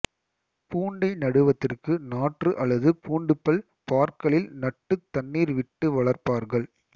பூண்டை நடுவதற்கு நாற்று அல்லது பூண்டுப்பல் பார்களில் நட்டுத் தண்ணீர் விட்டு வளர்ப்பார்கள்